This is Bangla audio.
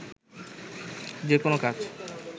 যেকোনো কাজ